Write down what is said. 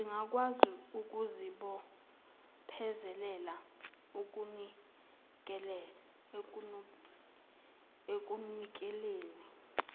zingakwazi ukuzibophezelela ekunikeleni